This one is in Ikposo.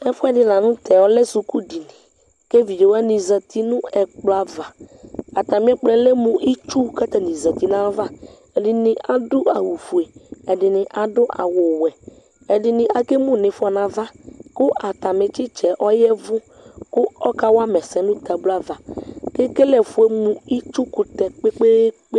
Ɛfuɛdi la nʋ tɛ, ɔlɛ suku dini kʋ evidze wani zati nʋ ɛkplɔ ava Atami ɛkplɔ yɛ lɛ mʋ itsʋ kʋ atani zati nʋ ayava Ɛdini adʋ awʋ fue, ɛdini adʋ awʋ wɛ Ɛdini akemʋ n'ifɔ nʋ ava kʋ atami titsa yɛ yavʋ kʋ ɔkawa ma ɛsɛ nʋ tabluo ava, kʋ ekele ɛfuɛ mʋ itsukʋtɛ kpekpeekpe